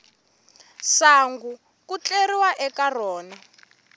sangu ku tleriwa eka rona